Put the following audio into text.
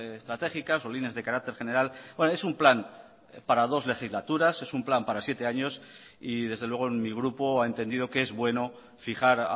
estratégicas o líneas de carácter general es un plan para dos legislaturas es un plan para siete años y desde luego en mi grupo ha entendido que es bueno fijar